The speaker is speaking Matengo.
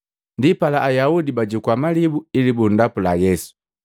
Ndipala, Ayaudi bajukua malibu ili bundapula Yesu.